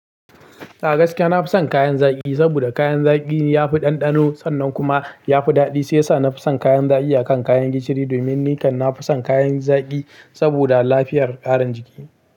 A gaskiya na fi son kayan zaki, saboda kayan zaki ya fi ɗanɗano sannan kuma ya fi daɗi. Sai sa na fi son kayan zaki akan kayan gishiri domin ni kan na fi son kayan zaki saboda lafiyar ƙarin jiki.